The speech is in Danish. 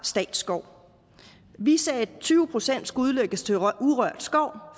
statsskov vi sagde at tyve procent skulle udlægges til urørt skov